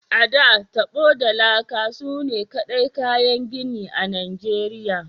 A,da, tabo da laka sune kaɗai kayan gini a Nigeriya.